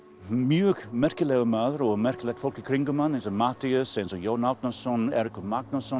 mjög merkilegur maður og merkilegt fólk í kringum hann eins og Matthías Jón Árnason Eiríkur Magnússon